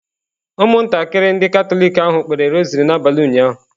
Ụmụntakịrị ndị Katọlik ahụ kpere rosary n'abalị ụnyaahụ.